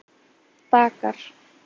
Dakar